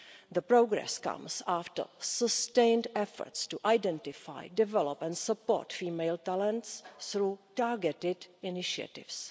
The progress comes after sustained efforts to identify, develop and support female talents through targeted initiatives.